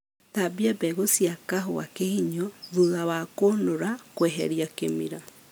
Thambia mbegũ cia kahũa kĩhinyio thutha wa kũnũra kweheria kĩmira